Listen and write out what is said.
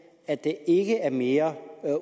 at der ikke kommer mere